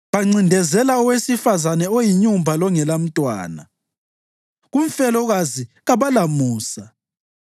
Bancindezela owesifazane oyinyumba longelamntwana, kumfelokazi kabalamusa.